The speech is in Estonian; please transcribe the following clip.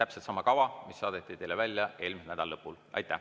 See on täpselt sama kava, mis saadeti teile välja eelmise nädala lõpul.